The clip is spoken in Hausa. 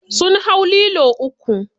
Sun hau lilo uku.